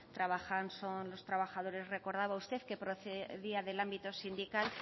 trabajan son los trabajadores recordaba usted que procedía del ámbito sindical